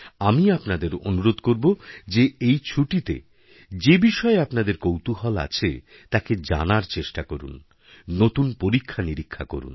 আমি আপনাদের অনুরোধ করব যে এই ছুটিতে যে বিষয়েআপনাদের কৌতূহল আছে তাকে জানার চেষ্টা করুন নতুন পরীক্ষানিরীক্ষা করুন